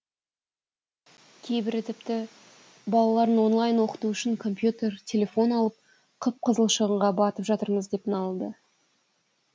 кейбірі тіпті балаларын онлайн оқыту үшін компьютер телефон алып қып қызыл шығынға батып жатырмыз деп налыды